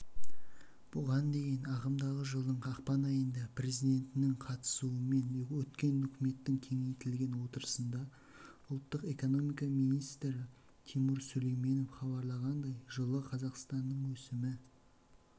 бұған дейін ағымдағы жылдың ақпан айында президентінің қатысуымен өткен үкіметтің кеңейтілген отырысында ұлттық экономика министі тимур сүлейменов хабарлағандай жылы қазақстанның өсімі